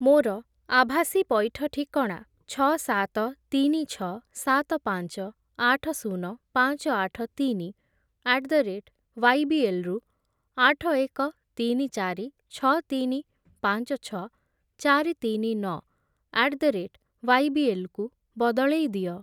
ମୋର ଆଭାସୀ ପଇଠ ଠିକଣା ଛଅ, ସାତ, ତିନି, ଛଅ, ସାତ, ପାଞ୍ଚ, ଆଠ, ଶୂନ, ପାଞ୍ଚ, ଆଠ, ତିନି ଆଟ୍ ଦ ରେଟ୍ ୱାଇବିଏଲ୍ ରୁ ଆଠ, ଏକ, ତିନି, ଚାରି, ଛଅ, ତିନି, ପାଞ୍ଚ, ଛଅ, ଚାରି, ତିନି, ନଅ ଆଟ୍ ଦ ରେଟ୍ ୱାଇବିଏଲ୍ କୁ ବଦଳେଇ ଦିଅ।